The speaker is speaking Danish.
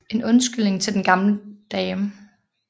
En undskyldning til den gammel dame